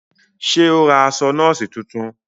Ṣe o ra aṣọ nọọsi tuntun?